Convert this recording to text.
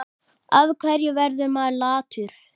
Af hverju verður maður latur?